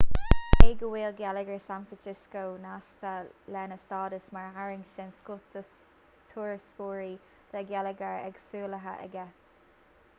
cé go bhfuil geilleagar san francisco nasctha lena stádas mar tharraingt den scoth do thurasóirí tá geilleagar éagsúlaithe aige